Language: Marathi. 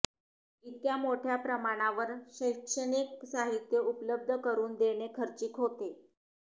इतक्या मोठ्या प्रमाणावर शैक्षणिक साहित्य उपलब्ध करून देणे खर्चिक होते